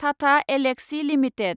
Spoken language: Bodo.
थाथा एलएक्ससि लिमिटेड